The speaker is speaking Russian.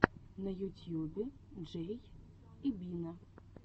на ютьюбе джей и бина